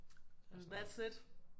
And that's it